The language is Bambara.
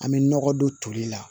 An bɛ nɔgɔ don toli la